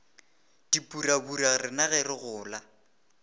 dipurabura rena ge re gola